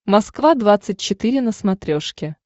москва двадцать четыре на смотрешке